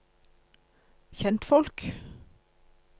kjentfolk